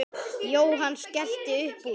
Jóhann skellti upp úr.